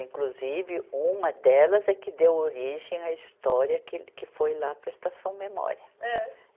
Inclusive, uma delas é que deu origem à história que ele, que foi lá para a Estação Memória. ã